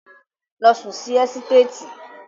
Lọ sùn sí ẹ́sítéètì.